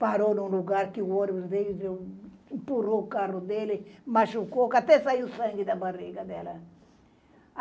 Parou num lugar que o ônibus veio, empurrou o carro dele, machucou que até saiu sangue da barriga dela.